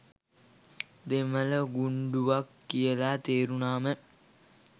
දෙමළ ගුණ්ඩුවක් කියල. තේරුනාම.